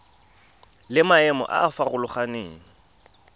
le maemo a a farologaneng